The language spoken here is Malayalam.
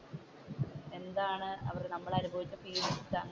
എന്താണ് നമ്മൾ അനുഭവിച്ച ഫീലിങ്ങ്സ്